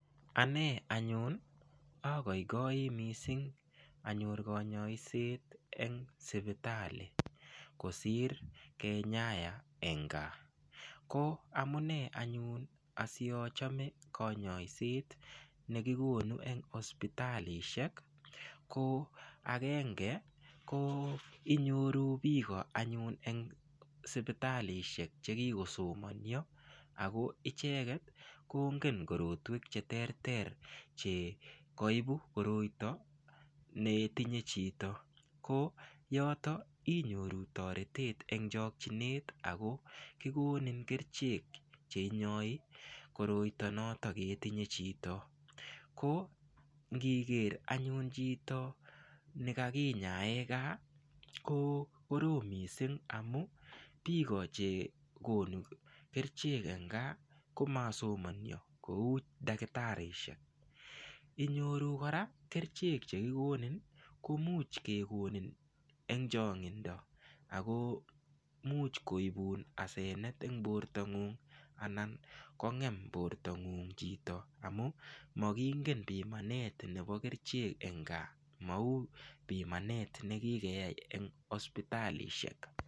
Ane anyun agoigoi mising anyor konyoiset eng sipitali kosir kenyaya eng gaa ko amune anyun asiachome konyoiset nekikonu eng hospitalishek ko akenge ko inyoru biko anyun eng sipitalishek chekiko somonio ako icheket kongen korotwek cheterter chekaibu koroito netinye chito ko yoto inyoru toretet eng chokchinet ako kikonin kerchek cheinyoi koroito noto ketinye chito ko ngiker anyun chito nekakinyae gaa ko korom mising amu biko chekonu kerchek eng gaa komasomonio kou dakitarishek inyoru kora kerchek chekikonin komuch kekonin eng chong'indo ako muuch koibun asenet eng borto ng'ung' anan kongem bort ng'ung' chito amu makingen pimanet nebo kerchek eng gaa mau bimanet nekikeyai eng hospitalishek.